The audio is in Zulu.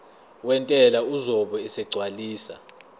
wentela uzobe esegcwalisa